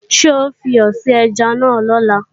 Ṣé ó fiyọ̀ sí ẹja náà lọ́la?